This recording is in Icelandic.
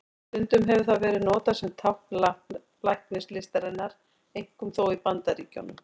Stundum hefur það verið notað sem tákn læknislistarinnar, einkum þó í Bandaríkjunum.